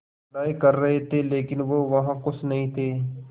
पढ़ाई कर रहे थे लेकिन वो वहां ख़ुश नहीं थे